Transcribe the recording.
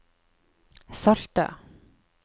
salte